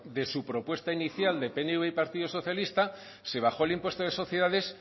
de su propuesta inicial de pnv y partido socialista se bajó el impuesto de sociedades